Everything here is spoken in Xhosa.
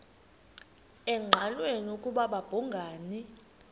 engqanweni ukuba babhungani